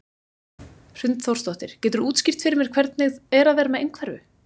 Hrund Þórsdóttir: Geturðu útskýrt fyrir mér hvernig er að vera með einhverfu?